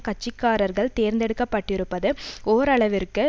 கட்சி காரர்கள் தேர்ந்தெடுக்கப்பட்டிருப்பது ஓரளவிற்கு